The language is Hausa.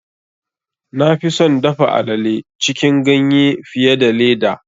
Na fi son dafa alale cikin ganye fiye da leda.